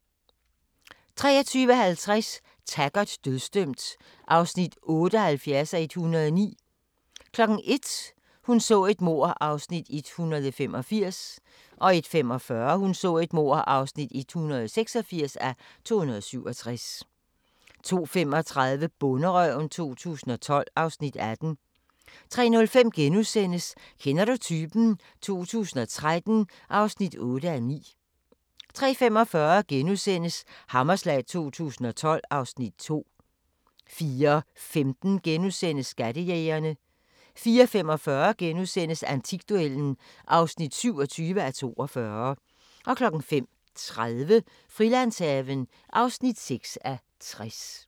23:50: Taggart: Dødsdømt (78:109) 01:00: Hun så et mord (185:267) 01:45: Hun så et mord (186:267) 02:35: Bonderøven 2012 (Afs. 18) 03:05: Kender du typen? 2013 (8:9)* 03:45: Hammerslag 2012 (Afs. 2)* 04:15: Skattejægerne * 04:45: Antikduellen (27:42)* 05:30: Frilandshaven (6:60)